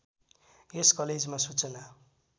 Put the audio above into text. यस कलेजमा सूचना